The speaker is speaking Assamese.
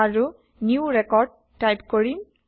আৰু নিউ ৰেকৰ্ড টাইপ কৰিম